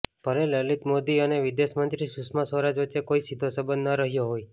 ભલે લલિત મોદી અને વિદેશ મંત્રી સુષમા સ્વરાજ વચ્ચે કોઈ સીધો સંબંધ ન રહ્યો હોય